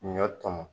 Ɲɔ tɔmɔ